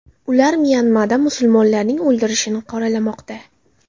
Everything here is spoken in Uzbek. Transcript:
Ular Myanmada musulmonlarning o‘ldirilishini qoralamoqda.